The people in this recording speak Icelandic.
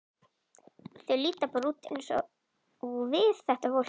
Þau líta bara út eins og við, þetta fólk.